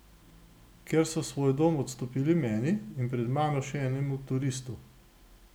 Ker so svoj dom odstopili meni in pred mano še enemu turistu.